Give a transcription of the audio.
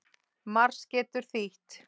Mars getur þýtt